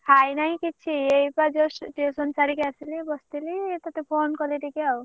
ଖାଇନାଇଁ କିଛି ଏଇ ପା just tuition ସାରିକି ଆସିଲି ବସିଲି ତତେ phone କଲି ଟିକେ ଆଉ।